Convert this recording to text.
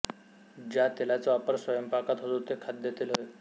ज्या तेलाचा वापर स्वयंपाकात होतो ते खाद्यतेल होय